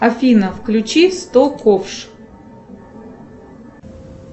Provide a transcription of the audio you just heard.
афина включи сто ковш